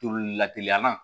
Toli la teliya la